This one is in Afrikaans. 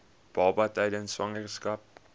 baba tydens swangerskap